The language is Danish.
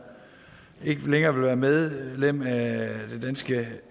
ikke længere vil være medlem af